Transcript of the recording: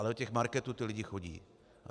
Ale do těch marketů ti lidé chodí.